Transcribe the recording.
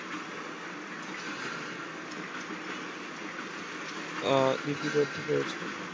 আহ লিপিবদ্ধ হয়েছে